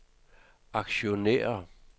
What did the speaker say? aktionærer